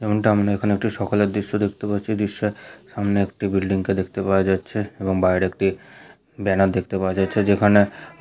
যেমনটা আমরা এখানে একটি সকালের দৃশ্য দেখতে পাচ্ছি এই দৃশ্যঃ সামনে একটি বিল্ডিং কে দেখতে পাওয়া যাচ্ছে এবং বাইরে একটি ব্যানার দেখতে পাওয়া যাচ্ছে যেখানে --